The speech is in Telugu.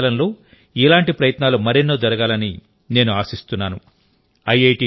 రాబోయే కాలంలో ఇలాంటి ప్రయత్నాలు మరెన్నో జరగాలని నేను ఆశిస్తున్నాను